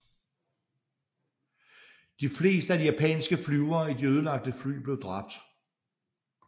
De fleste af de japanske flyvere i de ødelagte fly blev dræbt